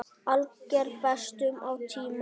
Alger bestun á tíma.